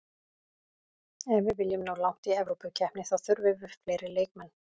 Ef við viljum ná langt í Evrópukeppni þá þurfum við fleiri leikmenn.